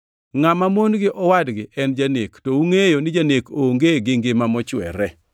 Ngʼama mon gi owadgi en janek, to ungʼeyo ni janek onge gi ngima mochwere.